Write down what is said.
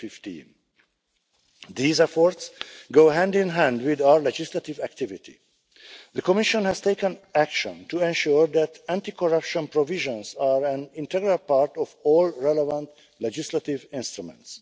2015. These efforts go hand in hand with our legislative activity. The Commission has taken action to ensure that anti corruption provisions are an integral part of all relevant legislative instruments.